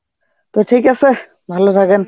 তো ঠিক আছে, ভালো থাকেন.